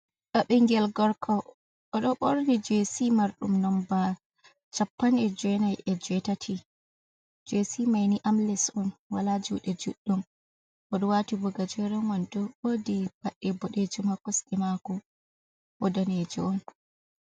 Ndaa ɓingel gorko oɗo borni jc marɗum nomba chapan e'jenai e je tati, gc maini amles on wala juɗe juɗɗum oɗo wati bo gajeremen wondo wodi paɗe boɗejum ha kosde mako o danejo on.